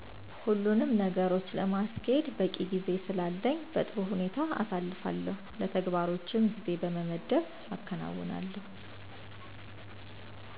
ሁሉኑም ነገሮች ለማስኬድ በቂ ጊዜ ስላለኝ በጥሩ ሁኔታ አሳልፋለሁ። ለተግባሮችም ጊዜ በመመደብ አከናዉናለሁ።